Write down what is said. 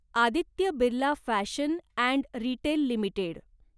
Aditya Birla fashion and retail limited